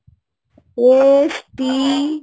S, টি,